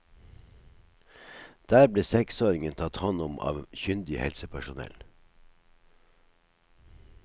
Der ble seksåringen tatt hånd om av kyndig helsepersonell.